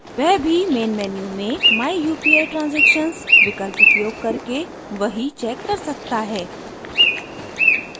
वह भी main menu में my upi transactions विकल्प उपयोग करके वही चेक कर सकता है